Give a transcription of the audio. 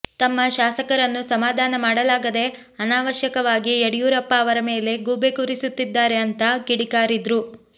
ತಮ್ಮ ಶಾಸಕರನ್ನು ಸಮಾಧಾನ ಮಾಡಲಾಗದೆ ಅನಾವಶ್ಯಕವಾಗಿ ಯಡಿಯೂರಪ್ಪ ಅವರ ಮೇಲೆ ಗೂಬೆ ಕೂರಿಸುತ್ತಿದ್ದಾರೆ ಅಂತಾ ಕಿಡಿಕಾರಿದ್ರು